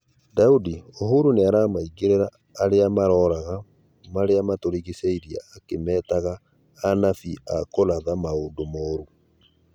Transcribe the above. Daũdĩ: Ũhũru nĩaramaigĩrĩra arĩa maroraga marĩa matũrĩgĩcĩirie akĩmetaga "anabĩĩ a kũratha maundu morũ"